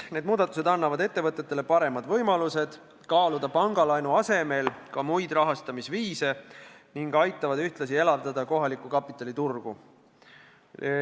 Need muudatused annavad ettevõtetele paremad võimalused kaaluda pangalaenu asemel muid rahastamisviise ning aitavad ühtlasi elavdada kohaliku kapitali turgu.